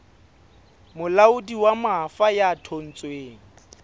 molaodi wa mafa ya thontsweng